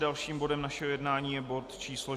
Dalším bodem našeho jednání je bod číslo